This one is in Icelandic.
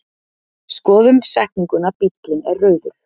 Skoðum setninguna bíllinn er rauður.